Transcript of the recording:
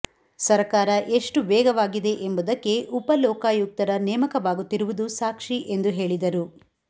ಸರಕಾರ ಎಷ್ಟು ವೇಗವಾಗಿದೆ ಎಂಬುದಕ್ಕೆ ಉಪಲೋಕಾಯುಕ್ತರ ನೇಮಕವಾಗುತ್ತಿರುವುದು ಸಾಕ್ಷಿ ಎಂದು ಹೇಳಿದರು